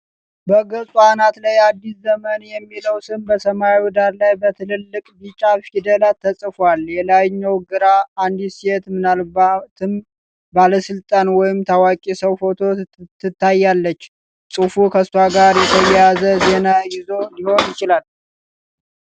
በገጹ አናት ላይ "አዲስ ዘመን" የሚለው ስም በሰማያዊ ዳራ ላይ በትላልቅ ቢጫ ፊደላት ተጽፏል። የላይኛው ግራ: አንዲት ሴት ምናልባትም ባለሥልጣን ወይም ታዋቂ ሰው ፎቶ ትታያለች። ጽሑፉ ከእሷ ጋር የተያያዘ ዜና ይዞ ሊሆን ይችላል።